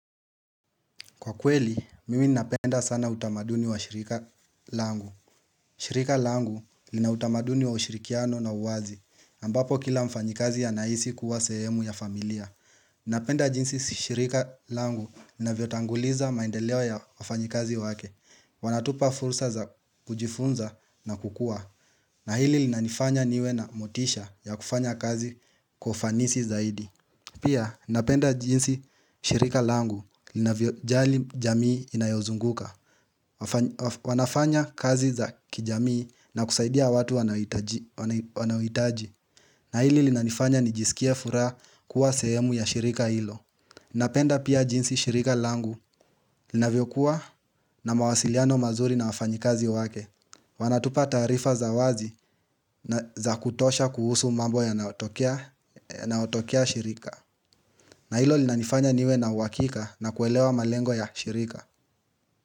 Kwa kweli, mimi napenda sana utamaduni wa shirika langu. Shirika langu lina utamaduni wa ushirikiano na uwazi. Ambapo kila mfanyikazi anahisi kuwa sehemu ya familia. Napenda jinsi shirika langu navyotanguliza maendeleo ya wafanyikazi wake. Wanatupa fursa za kujifunza na kukua. Na hili lina nifanya niwe na motisha ya kufanya kazi kwa ufanisi zaidi. Pia napenda jinsi shirika langu linavyo jali jamii inayozunguka wanafanya kazi za kijamii na kusaidia watu wanaohitaji na hili linanifanya nijisikie furaha kuwa sehemu ya shirika hilo Napenda pia jinsi shirika langu linavyo kuwa na mawasiliano mazuri na wafanyi kazi wake Wanatupa taarifa za wazi za kutosha kuhusu mambo yanayotokea shirika na ilo linanifanya niwe na uhakika na kuelewa malengo ya shirika.